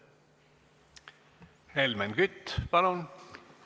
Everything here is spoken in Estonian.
Helmen Kütt, palun!